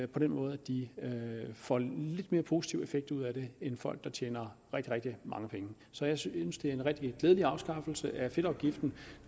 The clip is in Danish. den måde at de får en lidt mere positiv effekt ud af det end folk der tjener rigtig rigtig mange penge så jeg synes det er rigtig glædeligt med afskaffelsen af fedtafgiften